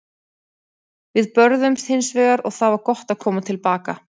Við börðumst hins vegar og það var gott að koma til baka.